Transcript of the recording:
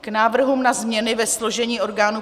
K návrhům na změny ve složení orgánů